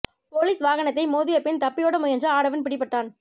police வாகனத்தை மோதியபின் தப்பியோட முயன்ற ஆடவன் பிடிபட்டான்